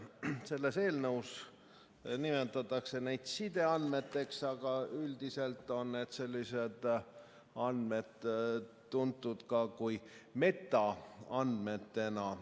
Selles eelnõus nimetatakse neid sideandmeteks, aga üldiselt on sellised andmed tuntud ka metaandmetena.